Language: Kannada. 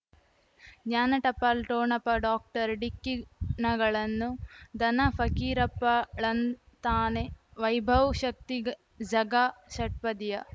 ಜ್ಞಾನ ಟಪಾಲು ಠೊಣಪ ಡಾಕ್ಟರ್ ಢಿಕ್ಕಿ ಣಗಳನು ಧನ ಫಕೀರಪ್ಪ ಳಂತಾನೆ ವೈಭವ್ ಶಕ್ತಿ ಝಗಾ ಷಟ್ಪದಿಯ